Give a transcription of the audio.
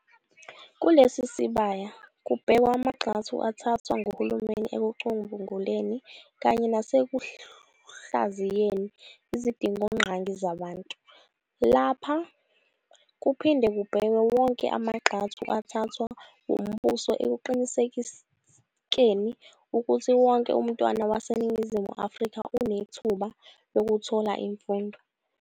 Kulesi sisbaya kubhekwa amangxathu athathwa nguhulumeni ekucubunguleni, kanye nasekuhlaziyeni izidingongqangi zabantu. Lapha kuphinde kubhekwe wonke amagxathu athathwa umbuso ekuqinisekeni ukuthi wonke umntwana waseNingizimu Afrika unethuba lokuthola imfundo.